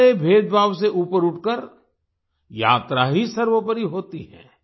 सारे भेदभाव से ऊपर उठकर यात्रा ही सर्वोपरि होती है